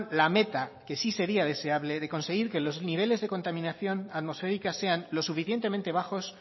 la meta que sí sería deseable de conseguir que los niveles de contaminación atmosférica sean lo suficientemente bajos